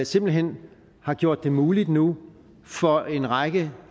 simpelt hen har gjort det muligt nu for en række